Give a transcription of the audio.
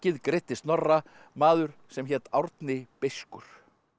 greiddi Snorra maður sem hét Árni beiskur